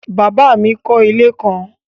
Bàbá mi kọ́ ilé kan